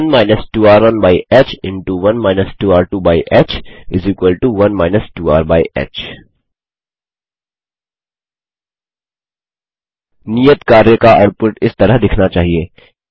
1 2r1ह1 2r2ह 1 2rह नियत कार्य का आउटपुट इस तरह दिखना चाहिए